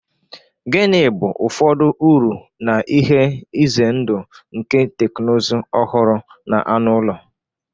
Gịnị bụ ụfọdụ uru na ihe ize ndụ nke teknụzụ ọhụrụ na anụ ụlọ?